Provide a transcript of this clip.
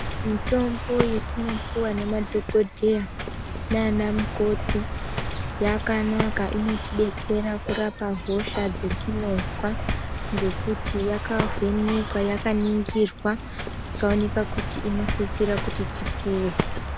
Mitombo yatinopiwa nemadhokodheya nana mukoti yakanaka inotidetsera kurapa hosha dzatinozwa ngekuti yakavhenekwa yakaningirwa ikaonekwa kuti yakanaka inosisira kuti tipuwe.